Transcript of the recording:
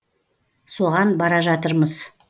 соған бара жатырмыз